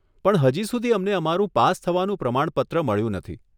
પણ હજી સુધી અમને અમારું પાસ થવાનું પ્રમાણપત્ર મળ્યું નથી.